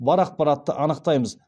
бар ақпаратты анықтаймыз